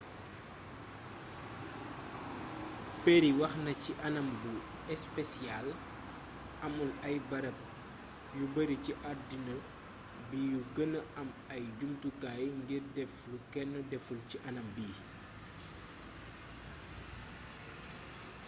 perry wax na ci anam bu espesiyaal amul ay barab yu bari ci addina bi yu gëna am ay jumtukaay ngir def lu kenn deful ci anam bii